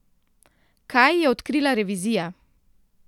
Kaj je odkrila revizija?